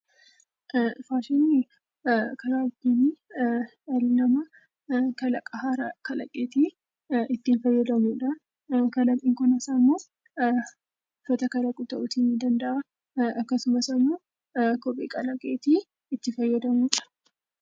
Faashiniin karaa ittiin dhalli namaa kalaqa haaraa kalaqeetii ittiin fayyamuu dha. Kalaqni kunis immoo uffata kalaquu ta'uu ni danda'a. Akkasumas immoo kophee kalaqeetii itti fayyadamuu dha.